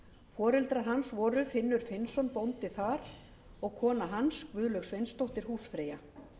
foreldrar hans voru finnur finnsson bóndi þar og kona hans guðlaug sveinsdóttir húsfreyja